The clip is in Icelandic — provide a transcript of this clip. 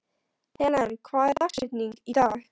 Helen, hver er dagsetningin í dag?